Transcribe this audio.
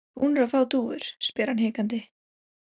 Eruð þið búnir að fá dúfur? spyr hann hikandi.